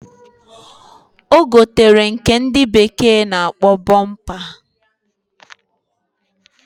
Ogotere nke ndi bekee na akpo bumper.